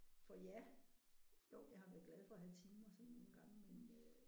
For ja jo jeg har været glad for at have timer sådan nogle gange men øh